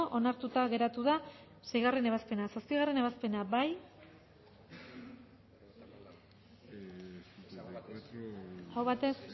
onartuta geratu da seigarrena ebazpena zazpigarrena ebazpena bozkatu dezakegu